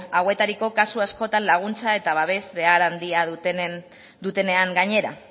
hauetariko kasu askotan laguntza eta babes behar handia dutenean gainera